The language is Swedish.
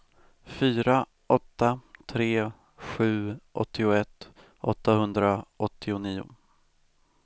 fyra åtta tre sju åttioett åttahundraåttionio